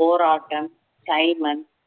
போராட்டம் சைமன்